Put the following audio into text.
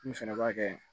Mun fɛnɛ b'a kɛ